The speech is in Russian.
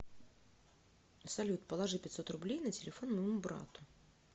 салют положи пятьсот рублей на телефон моему брату